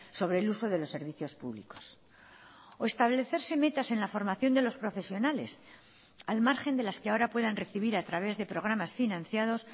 sobre el uso de los servicios públicos o establecerse metas en la formación de los profesionales al margen de las que ahora puedan recibir a través de programas financiados